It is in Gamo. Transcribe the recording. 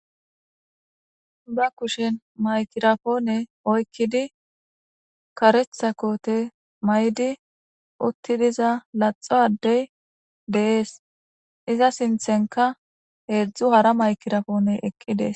Ba kushen maykirapoone oykkidi karetha koote may'di uttidiza laxo addey deees iza sinthenka heedzdzu hara maykirapoone eqqides